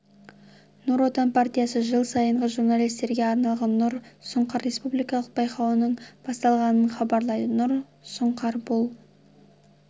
нұр отан партиясы жыл сайынғы журналистерге арналған нұр сұңқар республикалық байқауының басталғанын хабарлайды нұр сұңқар бұл